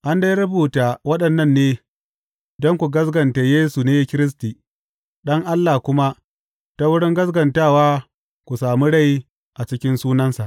An dai rubuta waɗannan ne don ku gaskata Yesu ne Kiristi, Ɗan Allah kuma ta wurin gaskatawa ku sami rai a cikin sunansa.